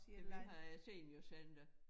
Ja vi har æ seniorcenter